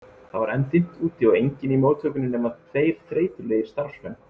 Það var enn dimmt úti og enginn í móttökunni nema tveir þreytulegir starfsmenn.